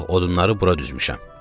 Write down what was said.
Bax, odunları bura düzmüşəm.